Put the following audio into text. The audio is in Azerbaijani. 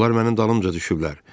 Onlar mənim dalımca düşüblər.